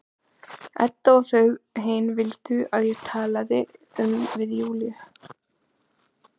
Edda og þau hin vildu að ég talaði um við Júlíu.